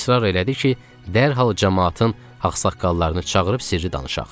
İsrar elədi ki, dərhal camaatın ağsaqqallarını çağırıb sirri danışaq.